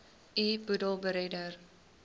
u boedel beredder